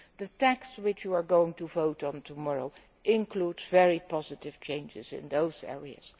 The text which you are going to vote on tomorrow includes very positive changes in those areas.